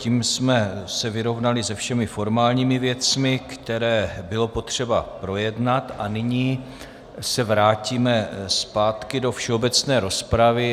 Tím jsme se vyrovnali se všemi formálními věcmi, které bylo potřeba projednat, a nyní se vrátíme zpátky do všeobecné rozpravy.